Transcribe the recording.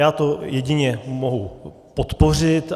Já to jedině mohu podpořit.